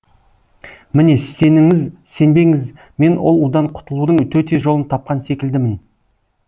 міне сеніңіз сенбеңіз мен ол удан құтылудың төте жолын тапқан секілдімін